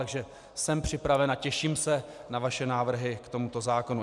Takže jsem připraven a těším se na vaše návrhy k tomuto zákonu.